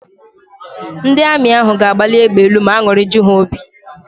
Ndị Amị ahụ ga-agbali égbè elu ma an̄ụrị ju ha óbì.